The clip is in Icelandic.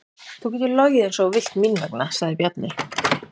Þú getur logið eins og þú vilt mín vegna, sagði Bjarni.